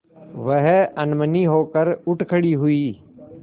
वह अनमनी होकर उठ खड़ी हुई